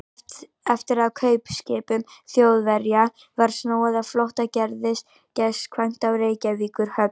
Eftir að kaupskipum Þjóðverja var snúið á flótta, gerðist gestkvæmt á Reykjavíkurhöfn.